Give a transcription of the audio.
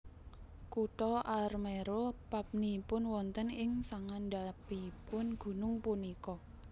Kutha Armero papnipun wonten ing sangandhapipun gunung punika